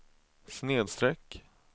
snedsträck